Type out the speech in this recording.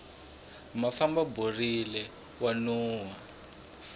mafamba borile wa nuhwa